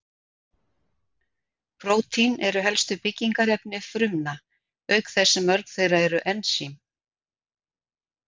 Prótín eru helstu byggingarefni frumna, auk þess sem mörg þeirra eru ensím.